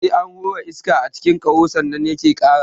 Sai an hura iska a cikin ƙaho sannan yake ƙara.